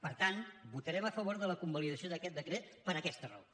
per tant votarem a favor de la convalidació d’aquest decret per aquesta raó